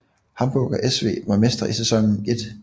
Hamburger SV var mestre i sæsonen 1